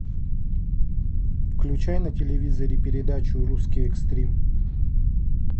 включай на телевизоре передачу русский экстрим